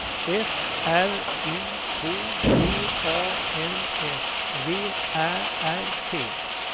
F R U K T A N S V Ä R T